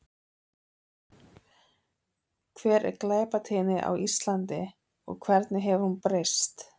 Hver er glæpatíðni á Íslandi og hvernig hefur hún breyst?